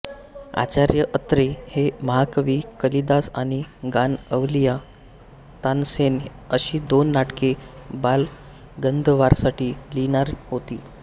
आचार्य अत्रे हे महाकवी कालिदास आणि गानअवलिया तानसेन अशी दोन नाटके बालगंधर्वांसाठी लिहिणार होते